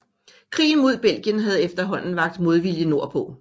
Krigen mod Belgien havde efterhåanden vakt modvilje nord på